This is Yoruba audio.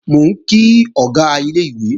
Mò ń kí Ọ̀gá ilé-ìwé